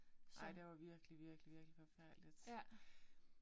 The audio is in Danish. Nej der var virkelig virkelig virkelig forfærdeligt